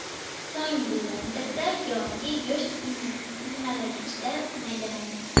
So‘ng blenderda yoki go‘sht qiymalagichda maydalaymiz.